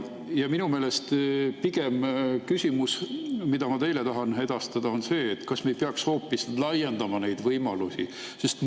Minu küsimus, mida ma teile tahan edastada, on pigem see: kas me ei peaks hoopis laiendama neid võimalusi?